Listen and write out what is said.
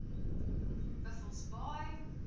buffelsbaai